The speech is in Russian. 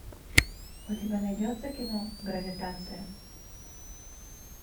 у тебя найдется кино гравитация